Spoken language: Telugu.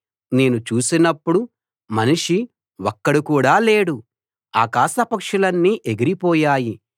నేను చూసినప్పుడు మనిషి ఒక్కడు కూడా లేడు ఆకాశపక్షులన్నీ ఎగిరిపోయాయి